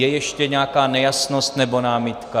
Je ještě nějaká nejasnost nebo námitka?